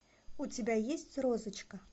у тебя есть розочка